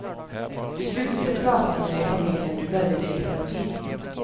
Du slutade prata med din familj när du började i terapi.